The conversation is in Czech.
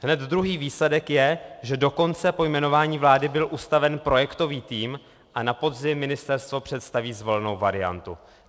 Hned druhý výsledek je, že dokonce po jmenování vlády byl ustaven projektový tým a na podzim ministerstvo představí zvolenou variantu.